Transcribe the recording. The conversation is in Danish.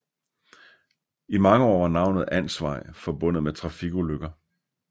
I mange år var navnet Ansvej forbundet med trafikulykker